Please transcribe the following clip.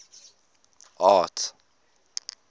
arts